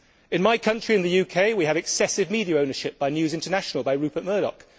In my country, the UK, we have excessive media ownership by News International, by Rupert Murdoch.